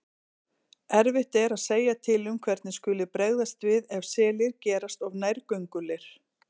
Erfitt er að segja til um hvernig skuli bregðast við ef selir gerast of nærgöngulir.